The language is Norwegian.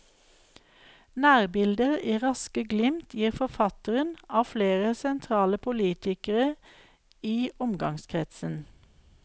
Nærbilder i raske glimt gir forfatteren av flere sentrale politikere i omgangskretsen.